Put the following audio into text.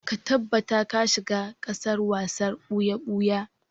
Ka tabbata ka shiga gasar wasar ɓuya-ɓuya!